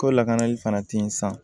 Ko lakanali fana tɛ ye sa